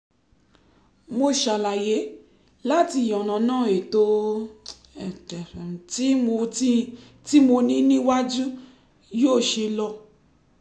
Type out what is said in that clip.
mo ṣàlàyé láti yànnàná ètò tí mo tí mo ní níwájú yóò ṣe lọ